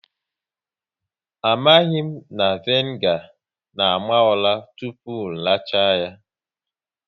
Amaghị na vinegar na àmà ụra tụpụ racha ya